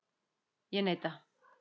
Ég neita.